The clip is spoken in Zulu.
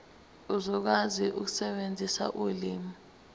uzokwazi ukusebenzisa ulimi